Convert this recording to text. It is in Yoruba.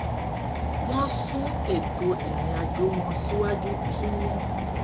wọn sún ètò ìrìnàjò wọn síwájú kí wón